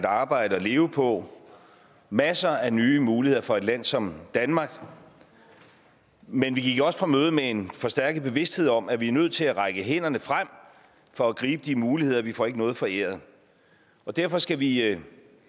arbejde og leve på masser af nye muligheder for et land som danmark men vi gik også fra mødet med en forstærket bevidsthed om at vi er nødt til at række hænderne frem for at gribe de muligheder vi får ikke noget foræret derfor skal vi